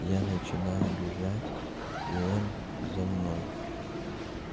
я начинаю бежать и он за мной